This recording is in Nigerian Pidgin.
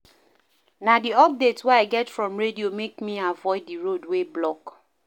Na di updates wey I get from radio make me avoid di road wey block.